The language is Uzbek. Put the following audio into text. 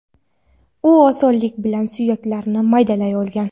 U osonlik bilan suyaklarni maydalay olgan.